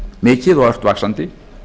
mikið og ört vaxandi